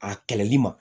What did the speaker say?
A kɛlɛli ma